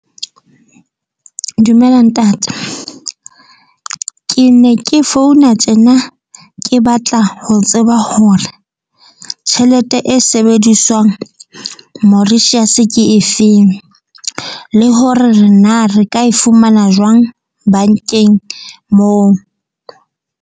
Dumela ntate. Ke ne ke founa tjena ke batla ho tseba hore tjhelete e seng sebediswang Mauritius ke efeng, le hore re na re ka e fumana jwang bank-eng moo?